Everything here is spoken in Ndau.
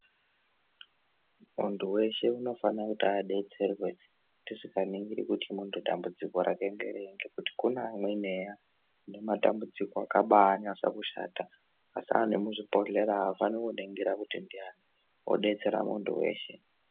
Muntu veshe unofana kuti abetserwe tisikaningiri kuti muntudambudziko rake ngerei. Ngekti kune amweni eya ane matambudziko akanyasa kushata. Zvasiyana nemuzvibhodhlera afaniri kuningira kuti ndiani unobetsera muntu veshe.